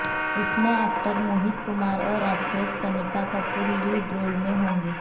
इसमें एक्टर मोहित कुमार और actress Kanika Kapoor lead role में होंगे